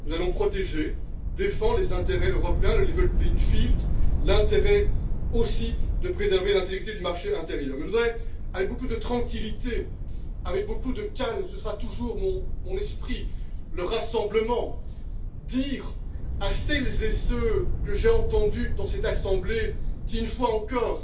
Nous allons protéger, défendre les intérêts européens, le level playing field l'intérêt aussi de préserver l'intégrité du marché intérieur. Mais je voudrais, avec beaucoup de tranquillité, avec beaucoup de calme ce sera toujours mon esprit le rassemblement dire à celles et ceux que j'ai entendus dans cette assemblée qui, une fois encore,